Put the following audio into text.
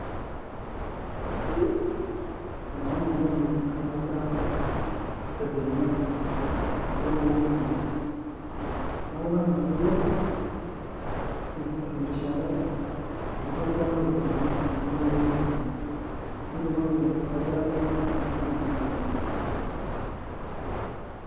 Keyieu oltungani oyiolo aitobira ilbenia kulo loo usii, neeku lazima piilo aifundishare, ekitobirata oo ilbenia kulo loo usii, piitumoki aitobiraki iltungana ilbenia sidain